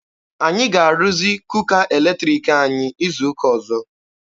Anyị ga-arụzi kuka eletriki anyị izu ụka ọzọ.